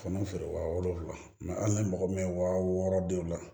Fana feere wa wolonwula hali ni mɔgɔ bɛ waa wɔɔrɔ denw la